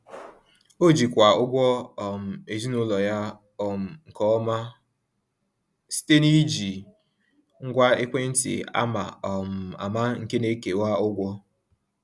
Ọ jikwaa ụgwọ um ezinụlọ ya um nke ọma site n’iji ngwa ekwentị ama um ama nke na-ekewa ụgwọ.